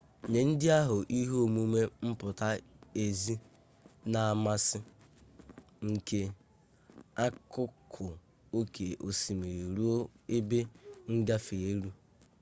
nye ndị ahụ ihe omume mpụta ezi na amasi njem akụkụ oke osimiri ruo ebe ngafe elu